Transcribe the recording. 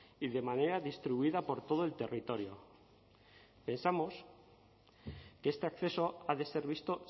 y de manera distribuida por todo el territorio pensamos que este acceso ha de ser visto